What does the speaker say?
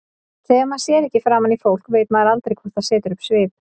Þegar maður sér ekki framan í fólk veit maður aldrei hvort það setur upp svip.